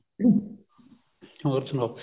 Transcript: ਹੋਰ ਸਨਾਓ